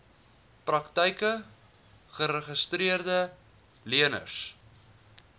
praktyke geregistreede leners